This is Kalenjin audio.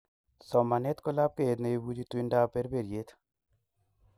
somanet ko lapkeiyet ne ipuchi tuindap perperiet